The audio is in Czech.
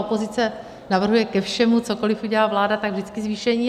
Opozice navrhuje ke všemu, cokoliv udělá vláda, tak vždycky zvýšení.